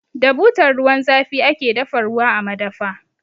Da butar ruwan zafi ake dafa ruwa a madafa.